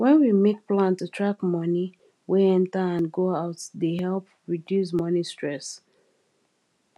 wen we make plan to track money wey enter and go out dey help reduce money stress